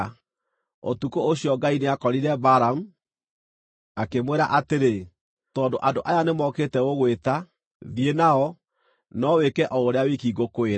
Ũtukũ ũcio Ngai nĩakorire Balamu, akĩmwĩra atĩrĩ, “Tondũ andũ aya nĩ mokĩte gũgwĩta, thiĩ nao, no wĩke o ũrĩa wiki ngũkwĩra.”